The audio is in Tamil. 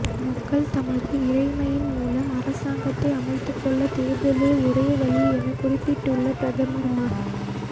மக்கள் தமது இறைமையின் மூலம் அரசாங்கத்தை அமைத்துக்கொள்ள தேர்தலே ஒரே வழியென குறிப்பிட்டுள்ள பிரதமர் மஹ